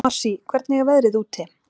Marsý, hvernig er veðrið úti?